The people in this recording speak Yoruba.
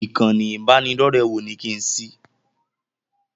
Ìkànnì ibanidọ̀rẹ́ wo ni kí n ṣí?